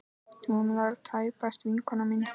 Hún er tæpast vinkona mín.